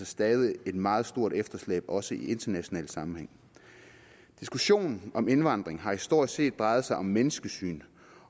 stadig et meget stort efterslæb også i international sammenhæng diskussionen om indvandring har stort set drejet sig om menneskesyn